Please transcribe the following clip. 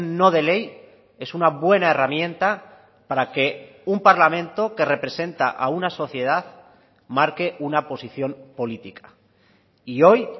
no de ley es una buena herramienta para que un parlamento que representa a una sociedad marque una posición política y hoy